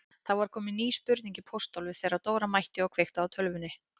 Það var komin ný spurning í pósthólfið þegar Dóra mætti og kveikti á tölvunni.